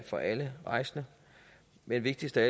for alle rejsende men vigtigst af